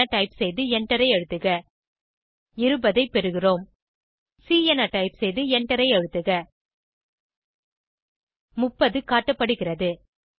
ப் என டைப் செய்து எண்டரை அழுத்துக 20 ஐ பெறுகிறோம் சி என டைப் செய்து எண்டரை அழுத்துக 30 காட்டப்படுகிறது